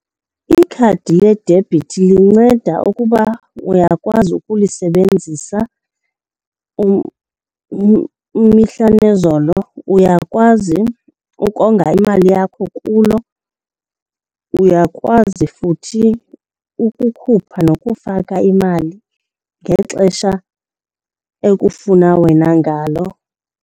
Ikhadi ledebhithi linceda ukuba uyakwazi ukulisebenzisa imihla nezolo, uyakwazi ukonga imali yakho kulo, uyakwazi futhi ukukhupha nokufaka imali ngexesha ekufuna wena ngalo.